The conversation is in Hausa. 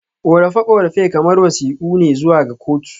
Korafe-korafe kamar wasiƙu ne zuwa ga kotu.